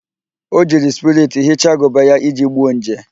O jiri spiriti hichaa agụba ya iji gbuo nje